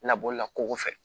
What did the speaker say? Labɔla ko fɛ